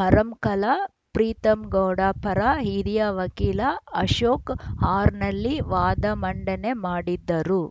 ಮರಂಕಲ ಪ್ರೀತಂಗೌಡ ಪರ ಹಿರಿಯ ವಕೀಲ ಅಶೋಕ ಹಾರ್ನಳ್ಳಿ ವಾದ ಮಂಡನೆ ಮಾಡಿದ್ದರು